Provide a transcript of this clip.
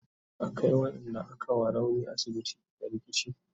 an Kai waƴanda aka wa rauni asibiti da rikici